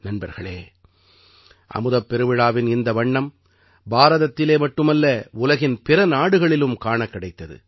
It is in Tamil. நண்பர்களே அமுதப் பெருவிழாவின் இந்த வண்ணம் பாரதத்திலே மட்டுமல்ல உலகின் பிற நாடுகளிலும் காணக் கிடைத்தது